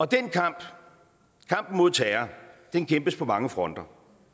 den kamp kampen mod terror kæmpes på mange fronter